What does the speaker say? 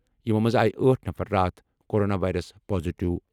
یِمو منٛزٕ آیہِ آٹھ نفر راتھ کورونا وائرس پازیٹیو۔